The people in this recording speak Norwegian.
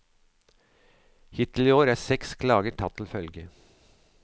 Hittil i år er seks klager tatt til følge.